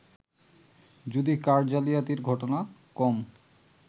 যদিও কার্ড জালিয়াতির ঘটনা কম